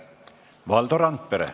Valdo Randpere.